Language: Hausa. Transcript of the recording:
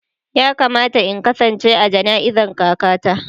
Ya kamata in kasance a jana'izan kaka ta.